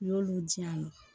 U y'olu diyan